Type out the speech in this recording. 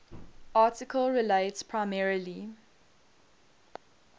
article relates primarily